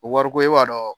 Wariko e b'a dɔn